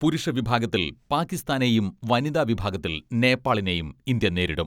പുരുഷ വിഭാഗത്തിൽ പാക്കിസ്ഥാനെയും വനിതാ വിഭാഗത്തിൽ നേപ്പാളിനെയും ഇന്ത്യ നേരിടും.